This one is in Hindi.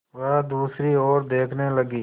वह दूसरी ओर देखने लगी